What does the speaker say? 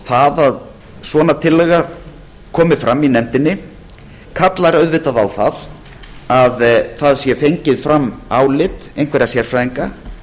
það að svona tillaga komi fram í nefndinni kallar auðvitað á að það sé fengið fram álit einhverra sérfræðinga